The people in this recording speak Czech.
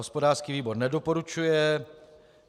Hospodářský výbor nedoporučuje.